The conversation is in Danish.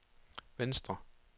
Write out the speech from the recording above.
venstre